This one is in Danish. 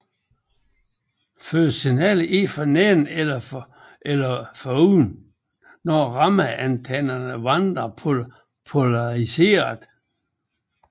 Fødes signalet ind for neden eller oven er rammeantennen vandret polariseret